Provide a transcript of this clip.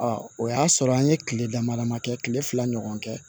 o y'a sɔrɔ an ye kile dama damanin kɛ kile fila ɲɔgɔn kɛ